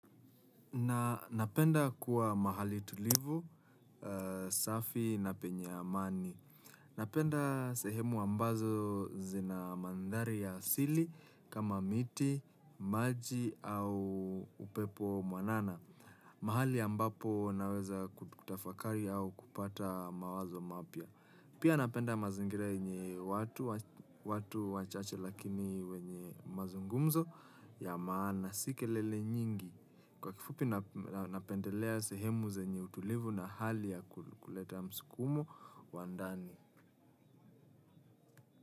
Na napenda kuwa mahali tulivu, safi na penye amani. Napenda sehemu ambazo zina mandhari ya asili kama miti, maji au upepo mwanana. Mahali ambapo naweza kutafakari au kupata mawazo mapya. Pia napenda mazingira yenye watu, watu wachache lakini wenye mazungumzo ya maana si kelele nyingi. Kwa kifupi napendelea sehemu zenye utulivu na hali ya kuleta msukumo wa ndani.